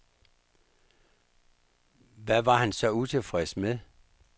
Hvad var han så utilfreds med?